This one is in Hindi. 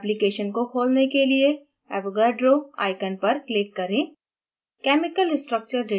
application को खोलने के लिए avogadro icon पर click करें